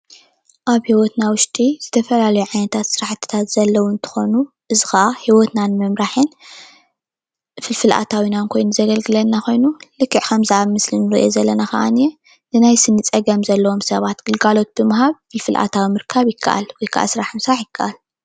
ኣብ ሂወትና ውሽጢ ዝተፈላለዩ ዓይነት ሰራሕትታት ዘለው እንትኾኑ እዚ ኸዓ ሂወትና ንምምራሕን ፍልፍል ኣታዊናን ኾይኑ ዘገልግለና ኾይኑ ልክዕ ኣብ ምስሊ ዝርአየና ንናይ ሰኒ ግልጋሎት ፍልፍል ኣታዊ ምርካብ ይከኣል።